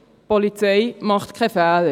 Die Polizei macht keine Fehler.